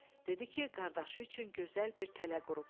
Dedi ki, qardaşı üçün gözəl bir tələ qurub.